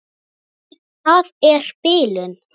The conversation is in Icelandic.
Það er bilun.